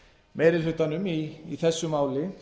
meiri hlutanum í þessu máli